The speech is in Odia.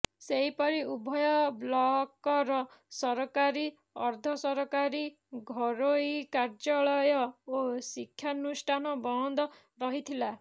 ସେହି ପରି ଉଭୟ ବ୍ଲକର ସରକାରୀ ଅର୍ଦ୍ଧ ସରକାରୀ ଘୋରୋଇ କାର୍ଯ୍ୟାଳୟ ଓ ଶିକ୍ଷାନୁଷ୍ଠାନ ବନ୍ଦ ରହିଥିଲା